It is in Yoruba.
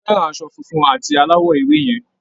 A fẹ́ràn aṣọ funfun à̀ti aláwọ̀ ewé yẹn.